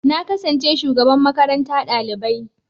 Na kasance shugaban makaranta ɗalibai.